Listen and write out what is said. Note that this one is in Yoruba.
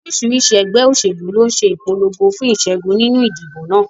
Oríṣiríṣi ẹgbẹ́ òṣèlú ló ń ṣe ìpolongo fún ìṣẹ́gun nínú ìdìbò náà.